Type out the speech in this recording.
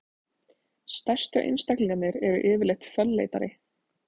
stærstu einstaklingarnir eru yfirleitt fölleitari